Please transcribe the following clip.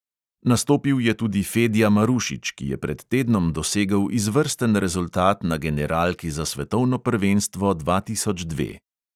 Nastopil je tudi fedja marušič, ki je pred tednom dosegel izvrsten rezultat na generalki za svetovno prvenstvo dva tisoč dve.